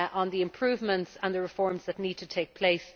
the improvements and the reforms that need to take place.